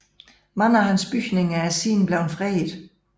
Mange af hans bygninger er siden blevet fredet